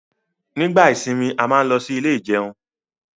nígbà ìsimi a má ló sì Ilé ìjẹun